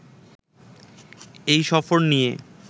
এই সফর নিয়ে